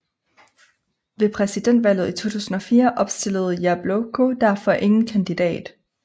Ved presidentvalget i 2004 opstillede Jabloko derfor ingen kandidat